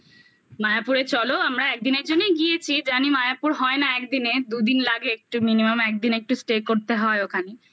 মায়াপুরে চলো আমরা একদিনের জন্যই গিয়েছি জানি মায়াপুর হয় না একদিনে দুদিন লাগে একটু minimum একদিন একটু stay করতে হয় ওখানে